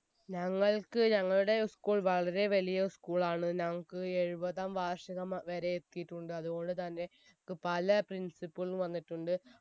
ഞങ്ങൾക്ക് ഞങ്ങളുടെ school വളരെ വലിയ school ആണ് ഞങ്ങക്ക് എഴുപതാം വാർഷികം വരെ എത്തിയിട്ടുണ്ട് അത്കൊണ്ട് തന്നെ ക് പല principal വന്നിട്ടുണ്ട്